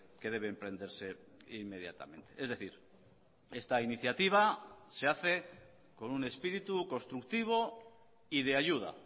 que debe emprenderse inmediatamente es decir esta iniciativa se hace con un espíritu constructivo y de ayuda